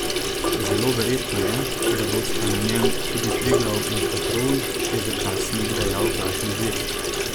Zelo verjetno je, da bosta na njem tudi Triglav in Petrol, je za časnik dejal vladni vir.